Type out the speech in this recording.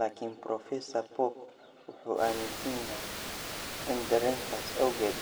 Laakiin Professor Pope wuxuu aaminsan yahay in dareenkaas awgeed,